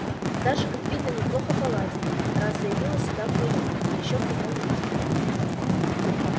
даже как видно неплохо поладили раз заявилась сюда вдвоём да ещё в таком виде